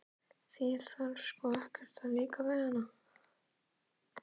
Þér þarf sko ekkert að líka við hana.